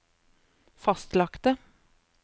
fastlagte